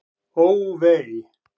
Ó, vei!